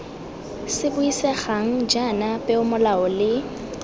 se buisegang jaana peomolao le